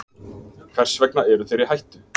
Hvers vegna eru þeir í hættu?